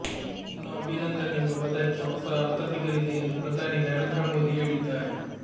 ಇನ್ನು ಅಭಿನಂದನ್ ಎಂಬ ಪದಕ್ಕೆ ಹೊಸ ಅರ್ಥ ಸಿಗಲಿದೆ ಎಂದು ಪ್ರಧಾನಿ ನರೇಂದ್ರ ಮೋದಿ ಹೇಳಿದ್ದಾರೆ